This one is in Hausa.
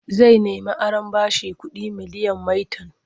Zai nemi aron bashin kuɗi miliyan maitan.